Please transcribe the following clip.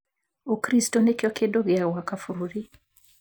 'Ukristo nĩkĩo kĩndũ kĩa gwaka bũrũri